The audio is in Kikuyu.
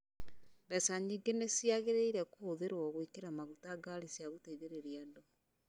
Mbeca nyingĩ nĩ ciagĩrĩire kũhũthĩrũo gwĩkĩra maguta ngaari cia gũteithĩrĩria andũ